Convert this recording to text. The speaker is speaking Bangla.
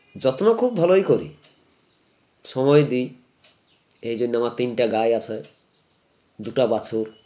যত্ন খুব ভালোই করি সময় দিই এই জন্য আমার তিনটে গাঁই আছে দুটা বাছুর